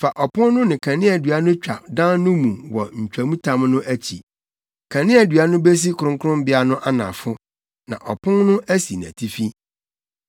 Fa ɔpon no ne kaneadua no twa dan no mu wɔ ntwamtam no akyi. Kaneadua no besi kronkronbea no anafo, na ɔpon no asi nʼatifi.